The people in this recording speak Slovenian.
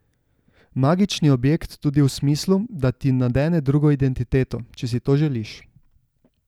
Magični objekt tudi v smislu, da ti nadene drugo identiteto, če si to želiš.